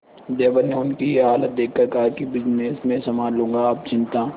देवर ने उनकी ये हालत देखकर कहा कि बिजनेस मैं संभाल लूंगा आप चिंता